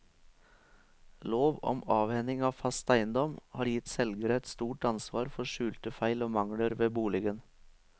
Lov om avhending av fast eiendom har gitt selgere et stort ansvar for skjulte feil og mangler ved boligen.